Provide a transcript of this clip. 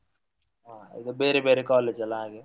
ಹಾ ಈಗ ಬೇರೆ ಬೇರೆ college ಅಲ್ಲ ಹಾಗೆ.